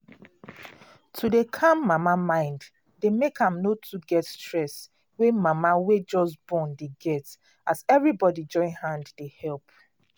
to dey calm mama mind dey make am no too get stress wey mama wey just born dey get as everybody join hand dey help